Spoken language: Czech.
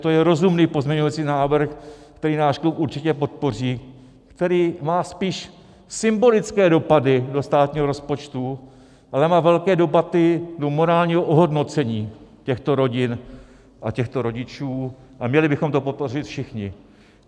To je rozumný pozměňující návrh, který náš klub určitě podpoří, který má spíš symbolické dopady do státního rozpočtu, ale má velké dopady do morálního ohodnocení těchto rodin a těchto rodičů, a měli bychom to podpořit všichni.